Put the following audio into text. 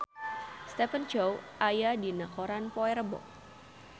Stephen Chow aya dina koran poe Rebo